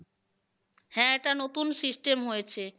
হ্যাঁ এটা নতুন system হয়েছে।